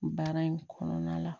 Baara in kɔnɔna la